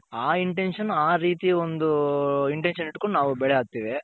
ಆ Intention ಆ ರೀತಿ ಒಂದು Intention ಇಟ್ಕೊಂಡ್ ನಾವು ಬೆಳೆ ಹಾಕ್ತಿವಿ.